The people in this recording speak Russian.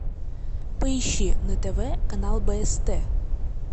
поищи на тв канал бст